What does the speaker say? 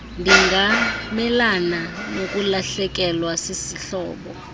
ndingamelana nokulahlekelwa sisihlobo